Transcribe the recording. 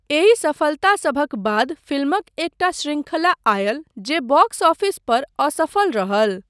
एहि सफलतासभक बाद फिल्मक एकटा शृंखला आयल जे बॉक्स ऑफिस पर असफल रहल।